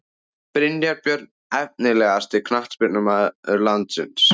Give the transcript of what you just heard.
Brynjar Björn Efnilegasti knattspyrnumaður landsins?